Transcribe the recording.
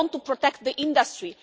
I want to protect the industry.